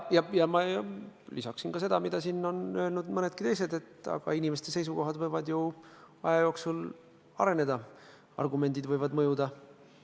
Ja ma lisaksin ka seda, mida on siin öelnud nii mõnedki teised, et inimeste seisukohad võivad ju aja jooksul areneda, argumendid võivad mõjuda.